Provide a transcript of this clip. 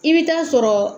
I bɛ taa sɔrɔ